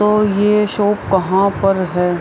और ये शॉप कहाँ पर है।